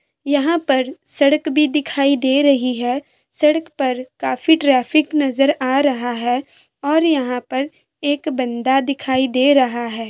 यहाँ पर सड़क भी दिखाई दे रही है सड़क पर काफी ट्रेफिक नजर आ रहा है और यहाँ पर एक बंदा दिखाई दे रहा है।